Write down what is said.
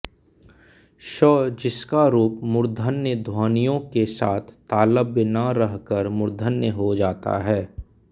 स् जिसका रूप मूर्धन्य ध्वनियों के साथ तालव्य न रहकर मूर्धन्य हो जाता है